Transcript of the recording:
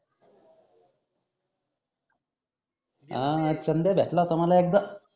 हा चनंदया भेटला होता तुम्हाला एकदा